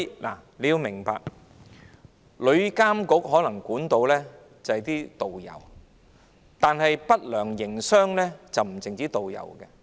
大家要明白，旅監局可能可以監管導遊，但不良營商者不僅是導遊。